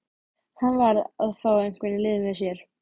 Hann varð að fá einhvern í lið með sér.